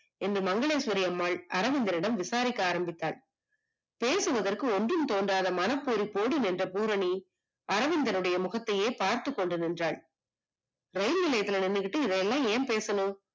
என்ன மங்களேஸ்வரிஅம்மாள் அரவிந்தனிடம் விசாரிக்க ஆரம்பித்தால், பேசுவதற்கு ஒன்றும் தோன்றாத மனப்போர் நின்ற பூரணி, அரவிந்தனின் முகத்தையே பார்த்துகொண்டிருந்தால். இரயில் நிலையத்துல நின்னுகிட்டு இதுல்லாம் ஏன் பேசனும்